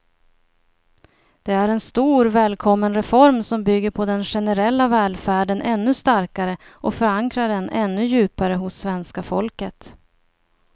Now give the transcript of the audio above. Det är en stor, välkommen reform som bygger den generella välfärden ännu starkare och förankrar den ännu djupare hos svenska folket.